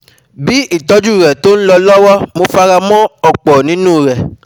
Bí ìtọ́jú rẹ̀ tó ń lọ lọ́wọ́, mo fara mọ́ ọ̀pọ̀ nínú u rẹ̀